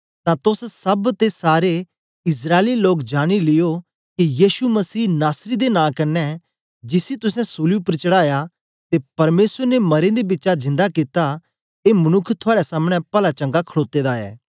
तां तोस सब ते सारे इस्राएली लोग जानी लियो के यीशु मसीह नासरी दे नां कन्ने जिसी तुसें सूली उपर चढ़ाया ते परमेसर ने मरें दे बिचा जिंदा कित्ता ए मनुक्ख थुआड़े सामनें पलाचंगा खडोते दा ऐ